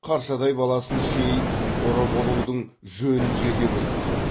қаршадай баласын шейін ұры болудың жөнін жете біліп тұр